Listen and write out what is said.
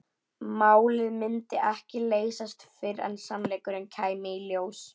Málið myndi ekki leysast fyrr en sannleikurinn kæmi í ljós.